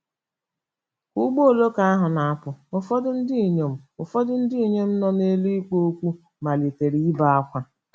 Ka ụgbọ oloko ahụ na-apụ, ụfọdụ ndị inyom ụfọdụ ndị inyom nọ n'elu ikpo okwu malitere ibe ákwá.